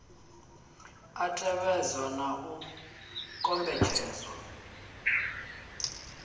a tevhedzwa na u kombetshedzwa